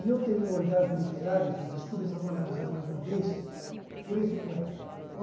E eu tenho um orgasmo literário, gente, desculpa essa palavra usar mais uma vez, por esse poeta, gente.